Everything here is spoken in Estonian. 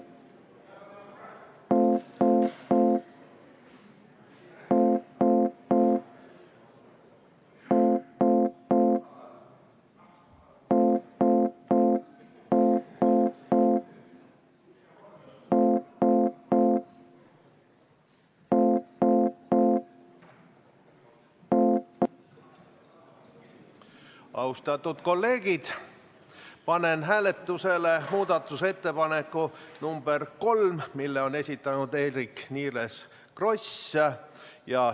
Austatud kolleegid, panen hääletusele muudatusettepaneku nr 3, mille on esitanud Eerik-Niiles Kross.